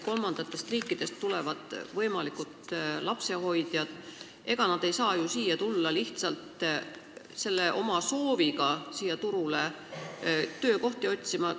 Kolmandatest riikidest tulevad võimalikud lapsehoidjad – ega nad ei saa ju siia lihtsalt tulla, kuna soovivad siin turul töökohta otsida?